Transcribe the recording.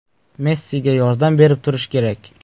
Messiga yordam berib turish kerak.